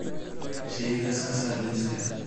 Shaygaas ka saar liiska